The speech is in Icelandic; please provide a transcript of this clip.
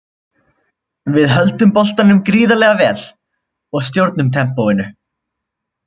Við höldum boltanum gríðarlega vel og stjórnum tempóinu.